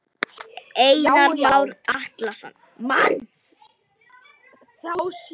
Einar Már Atlason: Manns?